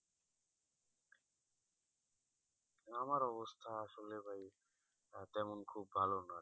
আমার অবস্থা আসলে ভাই তেমন খুব ভালো না আর কি আচ্ছা আচ্ছা